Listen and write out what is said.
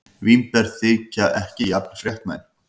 Vínber þykja ekki jafn fréttnæm.